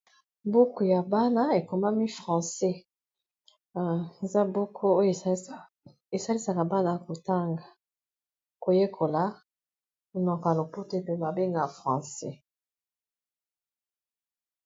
Buku ya bana, ekomami francais. Eza buku oyo, esalisaka bana kotanga koyekola ; monoko ya lopoto pe ba benga francais.